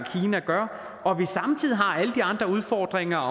gør og vi samtidig har alle de andre udfordringer